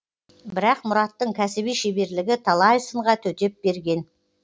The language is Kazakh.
бірақ мұраттың кәсіби шеберлігі талай сынға төтеп берген